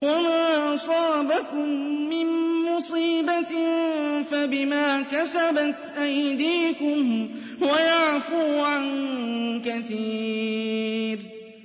وَمَا أَصَابَكُم مِّن مُّصِيبَةٍ فَبِمَا كَسَبَتْ أَيْدِيكُمْ وَيَعْفُو عَن كَثِيرٍ